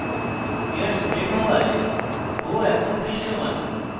airsprayed হওয়ায় bow এখন দৃশ্যমান